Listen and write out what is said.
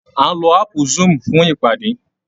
A ń lo áàpù zoom fún ìpadé